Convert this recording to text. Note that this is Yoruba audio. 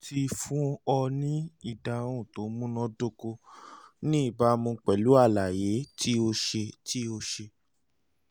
mo ti fún ọ ní ìdáhùn tó múná dóko ní ìbámu pẹ̀lú àlàyé tí o ṣe tí o ṣe